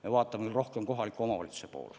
Me vaatame siin küll rohkem kohaliku omavalitsuse poole.